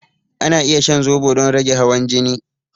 Ana iya shan zobo don rage hawan jini.